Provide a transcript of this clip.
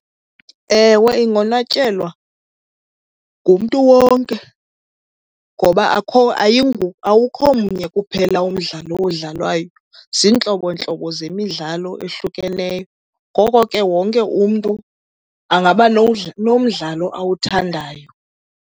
Ewe, ingonwatyelwa ngumntu wonke ngoba awukho mnye kuphela umdlalo odlalwayo. Ziintlobontlobo zemidlalo ehlukeneyo ngoko ke wonke umntu angaba nomdlalo awuthandayo.